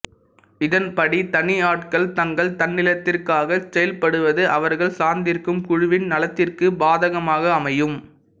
இதன்படி தனியாட்கள் தங்கள் தன்னலத்திற்காக செயல்படுவது அவர்கள் சார்ந்திருக்கும் குழுவின் நலத்திற்கு பாதகமாக அமையும்